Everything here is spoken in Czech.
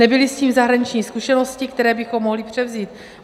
Nebyly s tím zahraniční zkušenosti, které bychom mohli převzít.